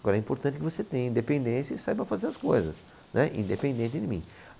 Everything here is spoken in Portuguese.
Agora é importante que você tenha independência e saiba fazer as coisas, né independente de mim.